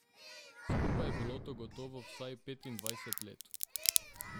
Skupaj je bilo to gotovo vsaj petindvajset let.